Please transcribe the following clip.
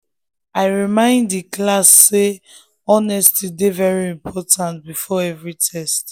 i remind the class say honesty dey very important before every test.